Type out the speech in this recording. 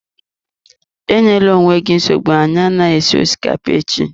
Enyela onwe gị nsogbu, anyị anaghị esi osikapa echi.